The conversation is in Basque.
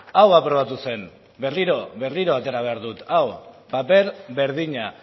hau aprobatu zen berriro atera behar dut hau paper berdina